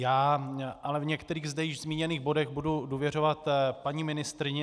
Já ale v některých zde již zmíněných bodech budu důvěřovat paní ministryni.